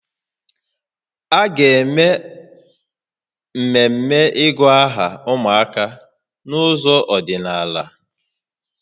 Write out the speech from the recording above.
A ga-eme mmemme ịgụ aha ụmụaka n'ụzọ ọdịnaala